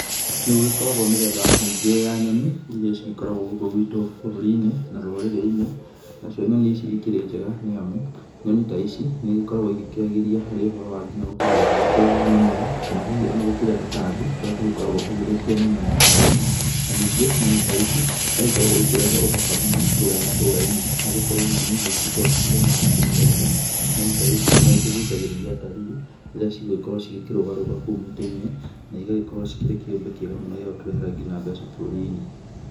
Nĩ gũgĩkoragwo mĩthemba mĩingĩ ya nyoni iria cigĩkoragwo gũkũ gwitũ bũrũri-inĩ na rũrĩrĩ-inĩ. Nacio nyoni ici cikĩrĩ njega nĩ amũ, nyoni ta ici nĩ igĩkoragwo igĩkĩagĩria harĩ ũhoro wa nginya gũkorwo ũgĩgĩkũra wa mĩmera kana hihi ona gũkĩrĩa tũtambi tũrĩa tũgĩkoragwo tũgĩthũkia mĩmera ya arĩmi na ningĩ nyoni ta ici no ikoragwo ikĩrehe ũthaka mũno kuurĩa matũra-inĩ nĩ gũkorwo nyoni nĩ igĩkoragwo irĩ cia marangi mithemba. Nyoni ta ici no ikĩgucagĩrĩria atarii rĩrĩa cigũgĩkorwo cikĩrũgaga rũgaga kuu mĩtĩ-inĩ na igagĩkorwo cikĩrĩ kĩumbe kĩega mũno gĩa gũtũrehera mbeca bũruri-inĩ.